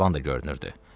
qayvan da görünürdü.